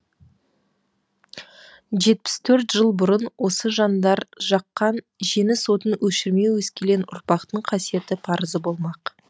жетпіс төрт жыл бұрын осы жандар жаққан жеңіс отын өшірмеу өскелең ұрпақтың қасиетті парызы болмақ